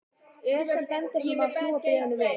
Ör sem bendir honum á að snúa bréfinu við.